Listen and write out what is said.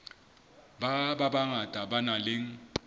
ba bangata ba nang le